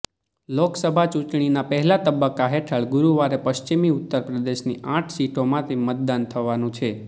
લોકસભા ચૂંટણીનાં પહેલા તબક્કા હેઠળ ગુરૂવારે પશ્ચિમી ઉત્તરપ્રદેશની આટ સીટો માટે મતદાન થવાનું છે